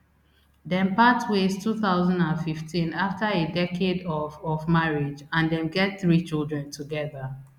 dem part ways two thousand and fifteen after a decade of of marriage and dem get three children together